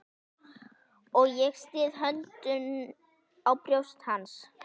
Og ég styð höndunum á brjóst hans.